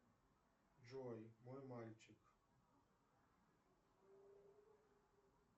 джой мой мальчик